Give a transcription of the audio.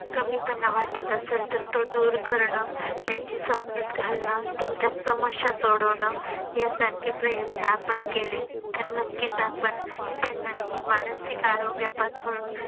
कमीपणा वाटत असेल तर तो दूर करणं त्यांची समजूत घालन त्यांच्या समस्या सोडवन यासारखे प्रयत्न आपण केले तर नक्कीच आपण त्यांना ही मानसिक आरोग्यापासून